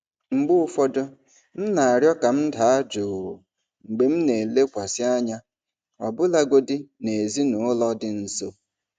Mgbe ụfọdụ, m na-arịọ ka m daa jụụ mgbe m na-elekwasị anya, ọbụlagodi na ezinaụlọ dị nso.